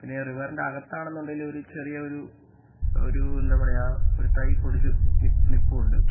പിന്നെ റിവർ ഇന്റെ അകത്താണെന്നുണ്ടെങ്കിൽ ഒരു ചെറിയ ഒരു ഒരു എന്താ പറയാ ഒരു തൈ പൊടിച്ചു നി നിൽപ്പുണ്ട്.